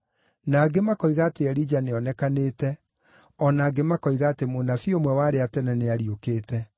na angĩ makoiga atĩ Elija nĩonekanĩte, o na angĩ makoiga atĩ mũnabii ũmwe wa arĩa a tene nĩariũkĩte.